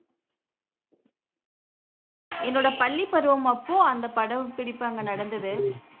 என்னோட பள்ளி பருவம் மட்டும் அந்த படம்பிடிப்பு அங்கு நடந்தது